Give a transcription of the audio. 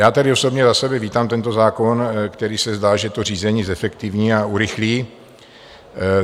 Já tedy osobně za sebe vítám tento zákon, který se zdá, že to řízení zefektivní a urychlí.